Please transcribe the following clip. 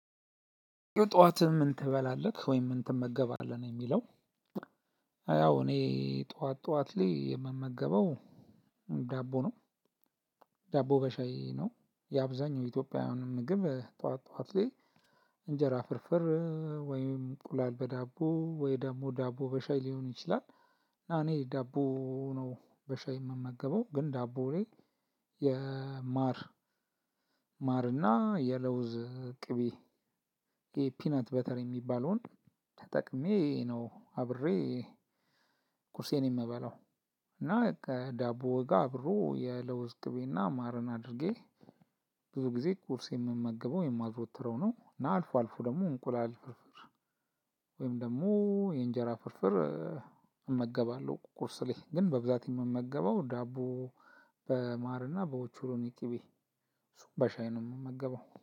ጠዋት ምን ትበላለህ ወይም ምን ትመገባለህ ነው የሚለው? አያው እኔ ጠዋት ጠዋት ላይ የምመገበው ዳቦ ነው። ዳቦ በሻይ ነው የአብዛኛው ኢትዮጵያውያን ምግብ ጠዋት ጠዋት ላይ። እንጀራ ፍርፍር ወይም እንቁላል በዳቦ ወይ ደግሞ ዳቦ በሻይ ሊሆን ይችላል። እና እኔ ዳቦ ነው በሻይ የምመገበው ግን ዳቦ ላይ የማር ማርና የለውዝ ቅቤ የፒነት በተለይ የሚባለውን ተጠቅሜ ነው አብሬ ቁርሴን የምበላው። እና ከዳቦ ጋር አብሮ የለውዝ ቅቤና ማርን አድርጌ ብዙ ጊዜ ቁርስ የምመገበው የማዘወትረው ነው። እና አልፎ አልፎ ደግሞ እንቁላል ፍርፍር ወይም ደግሞ የእንጀራ ፍርፍር እመገባለሁ። ቁርስ ላይ ግን በብዛት የምመገበው ዳቦ በማርና በኦቾሎኒ ቅቤ በሻይ ነው የምመገበው